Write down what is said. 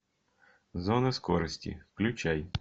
зона скорости включай